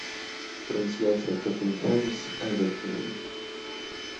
трансляция тоттенхэм с эвертоном